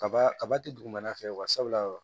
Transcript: Kaba kaba ti dugumana fɛ wa sabula